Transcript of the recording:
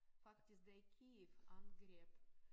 Faktisk der i Kyiv angreb